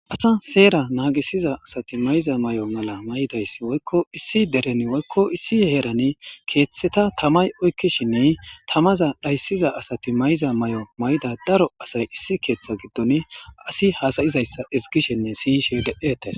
asa seera naagisiza asati mayiza may7o mala may7idayss woykko issi deren woykko issi heerani keeththeta tamay oykkishinne tamaza dhayssiza asati may7iza may7o may7ida daro asay issi keeththa giddon asi hasayizayssa izgishinne siishe de'etes